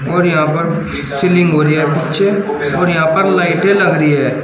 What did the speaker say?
और यहां पर सीलिंग हो रही है पिछे और यहां पर लाइटे लग रही है।